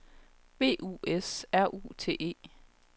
B U S R U T E